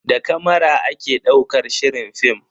Da kamara ake daukar shirin film.